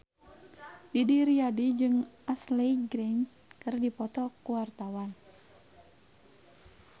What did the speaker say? Didi Riyadi jeung Ashley Greene keur dipoto ku wartawan